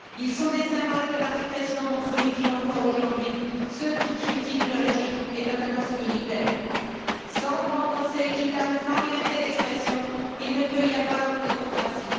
Ils sont des symboles de la répression dont sont victimes encore aujourd'hui ceux qui critiquent le régime et notamment ses militaires. Sans droit au procès équitable, sans liberté d'expression, il ne peut y avoir de démocratie.